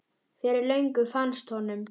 Fyrir löngu fannst honum.